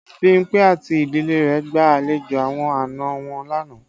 Bimpe àti ìdílé rẹ gba àlejò àwọn àna wọn lánàá